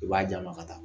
I b'a d'a ma ka taa